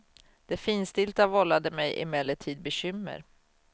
Det finstilta vållade mig emellertid bekymmer.